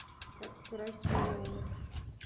как украсть миллион